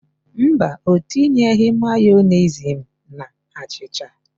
Mba, ọ tinyeghị Mayọnesị na achịcha.